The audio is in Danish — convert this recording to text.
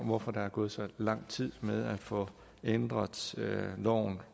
hvorfor der er gået så lang tid med at få ændret loven